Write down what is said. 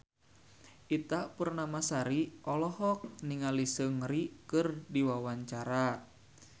Ita Purnamasari olohok ningali Seungri keur diwawancara